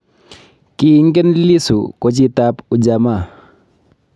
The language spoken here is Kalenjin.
Kiingen Lissu kochitab ujamaa